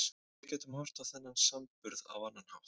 Við getum horft á þennan samburð á annan hátt.